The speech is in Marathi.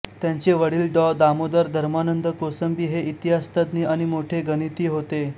त्यांचे वडील डॉ दामोदर धर्मानंद कोसंबी हे इतिहासतज्ज्ञ आणि मोठे गणिती होते